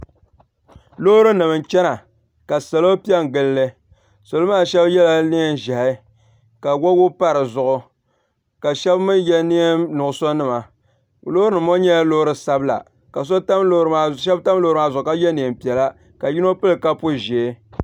Loorinima n-chana ka salo pe n-gili li salo maa shɛba yela neen'ʒɛhi ka wabigu pa di zuɣu ka shɛba mi ye neen'nuɣuso nima loorinima ŋɔ nyɛla loori sabila ka shɛba tam loori maa zuɣu ka ye neem'piɛla ka yino pili kapu ʒee.